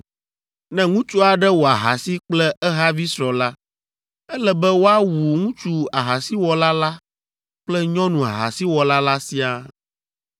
“ ‘Ne ŋutsu aɖe wɔ ahasi kple ehavi srɔ̃ la, ele be woawu ŋutsu ahasiwɔla la kple nyɔnu ahasiwɔla la siaa.